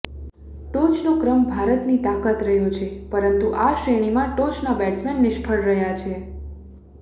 ટોચનો ક્રમ ભારતની તાકાત રહ્યો છે પરંતુ આ શ્રેણીમાં ટોચના બેટ્સમેન નિષ્ફળ રહ્યા છે